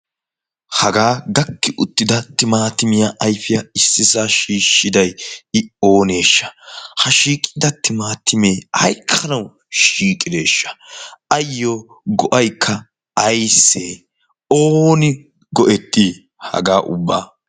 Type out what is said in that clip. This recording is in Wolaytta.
hagaa gakki uttida timaatimiyaa aifiyaa issisa shiishshidai i ooneeshsha? ha shiiqida timaatimee aikkana shiiqideeshsha? ayyo go7aikka aissee ooni go7ettii hagaa ubba?